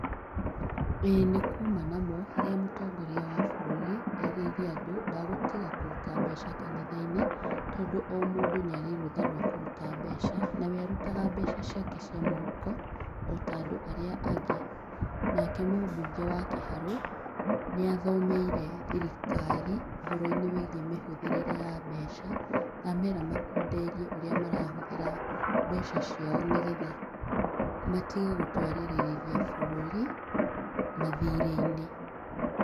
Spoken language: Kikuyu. Ĩĩ nĩ kuuma na mo, harĩa mũtongoria wa bũrũri erĩire andũ, ndagũtiga kũruta mbeca kanitha-inĩ, tondũ o mũndũ nĩ arĩ rũtha rwa kũruta mbeca, na we arutaga mbeca ciake cia mũhuko, o ta andũ arĩa angĩ. Nake mũbunge wa Kiharu nĩ athomeire thirikari, ũhoro-inĩ wĩgiĩ mĩhũthĩrĩre ya mbeca, na amera makunderie ũrĩa marahũthĩra mbeca ciao nĩ getha matige gũtwarĩrĩria bũrũri mathirĩ-inĩ.